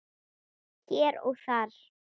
Hér og þar.